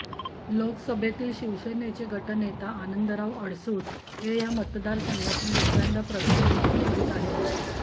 लोकसभेतील शिवसेनेचे गटनेता आनंदराव अडसूळ हे या मतदारसंघातून दुसऱ्यांदा प्रतिनिधीत्व करीत आहेत